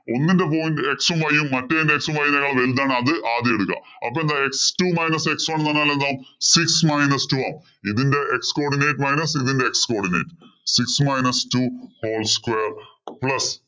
ഒന്നിന്‍റെ point x ഉം y ഉം മറ്റേതിന്‍റെ x ഉം v നേക്കാൾ വലുതാണ് അത് ആദ്യം എടുക്കാ അപ്പൊ എന്തായി x two minus x one ന്ന് പറഞ്ഞാൽ എന്താ six minus two ആവും ഇതിന്റെ x coordinate minus ഇതിന്റെ x cordinate, six minus two whole square plus